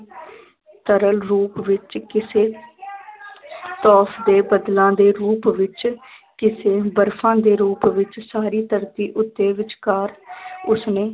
ਸਰਲ ਰੂਪ ਵਿੱਚ ਕਿਸੇ ਬੱਦਲਾਂ ਦੇ ਰੂਪ ਵਿੱਚ ਕਿਸੇ ਬਰਫ਼ਾਂ ਦੇ ਰੂਪ ਵਿੱਚ ਸਾਰੀ ਧਰਤੀ ਉੱਤੇ ਵਿਚਕਾਰ ਉਸਨੇ